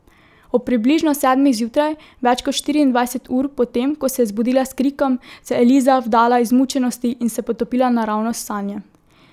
Ob približno sedmih zjutraj, več kot štiriindvajset ur po tem, ko se je zbudila s krikom, se je Eliza vdala izmučenosti in se potopila naravnost v sanje.